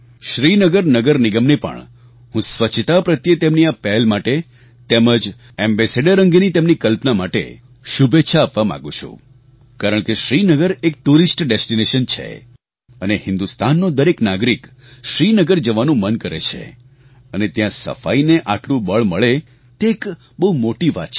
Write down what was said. શ્રીનગર નગર નિગમને પણ હું સ્વચ્છતા પ્રત્યે તેમની આ પહેલ માટે તેમજ એમ્બાસેડોર અંગેની તેમની કલ્પના માટે શુભેચ્છા આપવા માંગુ છું કારણ કે શ્રીનગર એક ટુરિસ્ટ ડેસ્ટિનેશન છે અને હિન્દુસ્તાનનો દરેક નાગરિક શ્રીનગર જવાનું મન કરે છે અને ત્યાં સફાઈને આટલું બળ મળે તે એક બહુ મોટી વાત છે